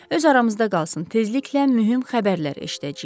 Öz aramızda qalsın, tezliklə mühüm xəbərlər eşidəcəyik.